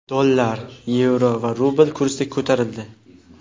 Dollar, yevro va rubl kursi ko‘tarildi.